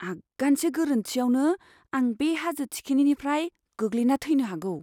आगानसे गोरोन्थिआवनो, आं बे हाजो थिखिनिनिफ्राय गोग्लैना थैनो हागौ!